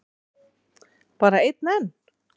Bara einn enn?